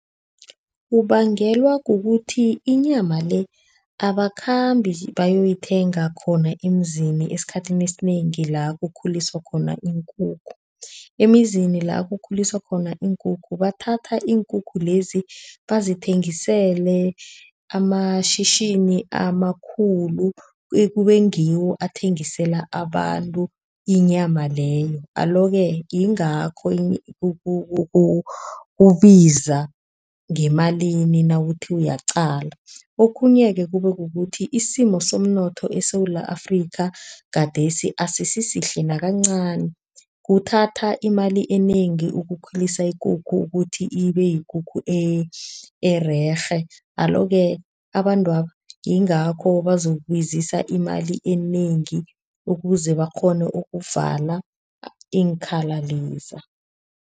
Kubangelwa kukuthi inyama le abakhambi bayoyithenga khona emzini esikhathini esinengi la kukhuliswa khona iinkukhu. Emizini la kukhuliswa khona iinkukhu, bathatha iinkukhu lezi bazithengisele amashishini amakhulu. Kube ngiwo abathengisela abantu inyama leyo. Alo-ke yingakho kubiza ngemalini nawuthi uyaqala. Okhunye-ke kube kukuthi isimo somnotho eSewula Afrika gadesi asisisihle nakancani. Kuthatha imali enengi ukukhulisa ikukhu ukuthi ibe yikukhu ererhe. Alo-ke abantwaba yingakho bazokubizisa imali enengi, ukuze bakghone ukuvala iinkhali leza.